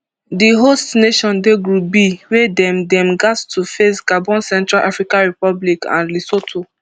di host nation dey group b wia dem dem gatz to face gabon central africa republic and lesotho